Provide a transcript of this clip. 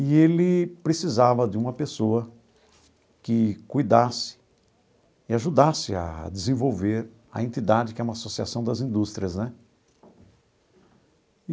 E ele precisava de uma pessoa que cuidasse e ajudasse a desenvolver a entidade, que é uma associação das indústrias, né?